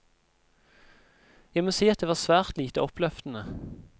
Jeg må si at det var svært lite oppløftende.